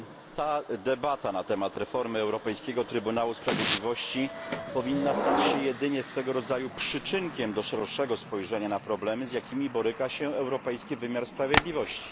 Ta debata na temat reformy Europejskiego Trybunału Sprawiedliwości powinna stać się jedynie swego rodzaju przyczynkiem do szerszego spojrzenia na problemy, z jakimi boryka się europejski wymiar sprawiedliwości.